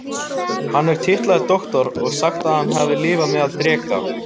Hann er titlaður Doktor og sagt að hann hafi lifað meðal dreka.